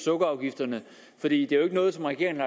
sukkerafgifterne for det er jo ikke noget som regeringen